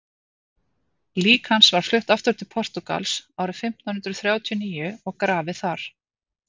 lík hans var flutt aftur til portúgals árið fimmtán hundrað þrjátíu og níu og grafið þar